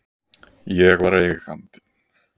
Ég var Eigandinn.